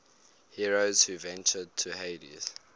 heroes who ventured to hades